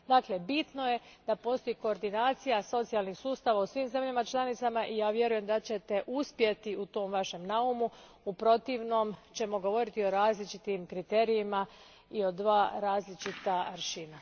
Dakle, bitno je da postoji koordinacija socijalnih sustava u svim zemljama članicama i ja vjerujem da ćete uspjeti u tom Vašem naumu, u protivnom ćemo govoriti o različitim kriterijima i o dva različita aršina.